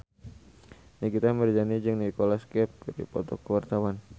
Nikita Mirzani jeung Nicholas Cafe keur dipoto ku wartawan